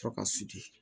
Tɔ ka sigi